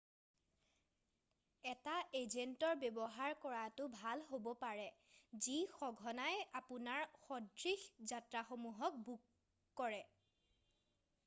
এটা এজেন্টৰ ব্যৱহাৰ কৰাটো ভাল হ'ব পাৰে যি সঘনাই আপোনাৰ সদৃশ যাত্ৰাসমূহক বুক কৰে৷